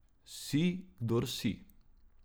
Si, kdor si.